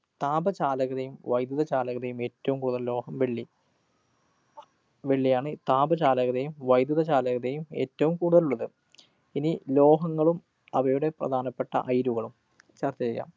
താപചാലകതയും വൈദ്യുത ചാലകതയും ഏറ്റവും കൂടുതല്‍ ഉള്ള ലോഹം വെള്ളി. വെള്ളിയാണ് താപചാലകതയും വൈദ്യുത ചാലകതയും ഏറ്റവും കൂടുതല്‍ ഉള്ളത്. ഇനി ലോഹങ്ങളും അവയുടെ പ്രധാനപ്പെട്ട അയിരുകളും ചര്‍ച്ച ചെയ്യാം.